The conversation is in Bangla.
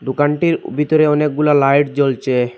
দোকানটির ভিতরে অনেকগুলো লাইট জ্বলছে।